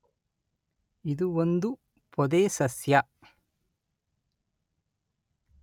ಇದು ಒಂದು ಪೊದೆ ಸಸ್ಯ.